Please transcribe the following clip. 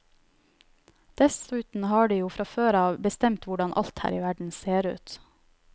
Dessuten har de jo fra før av bestemt hvordan alt her i verden ser ut.